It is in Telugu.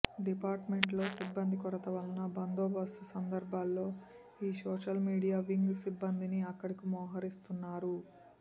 డిపార్టుమెంట్ లో సిబ్బంది కొరత వలన బందోబస్తు సందర్భాల్లో ఈ సోషల్మీడియా వింగ్ సిబ్బందినీ అక్కడకు మోహరిస్తున్నారు